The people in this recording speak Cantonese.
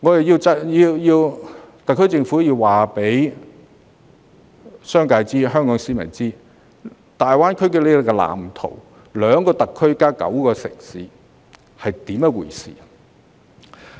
因此，特區政府應告知商界和廣大市民香港在大灣區發展的藍圖和兩個特區加上9個城市是甚麼回事。